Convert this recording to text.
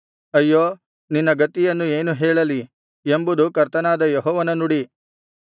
ಅಯ್ಯೋ ನಿನ್ನ ಗತಿಯನ್ನು ಏನು ಹೇಳಲಿ ಎಂಬುದು ಕರ್ತನಾದ ಯೆಹೋವನ ನುಡಿ